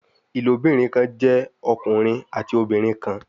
Ilobirin kan jẹ ọkunrin ati obinrin kan